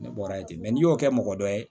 Ne bɔra yen ten n'i y'o kɛ mɔgɔ dɔ ye